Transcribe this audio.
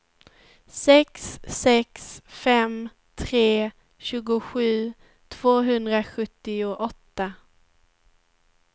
sex sex fem tre tjugosju tvåhundrasjuttioåtta